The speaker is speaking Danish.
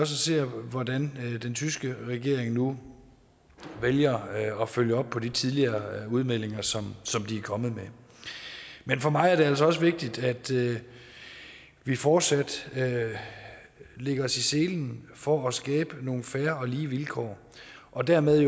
se hvordan den tyske regering nu vælger at følge op på de tidligere udmeldinger som som de er kommet med men for mig er det altså også vigtigt at vi fortsat lægger os i selen for at skabe nogle fair og lige vilkår og dermed